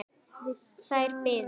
Þær biðu.